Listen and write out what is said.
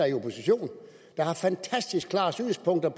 i opposition der har fantastisk klare synspunkter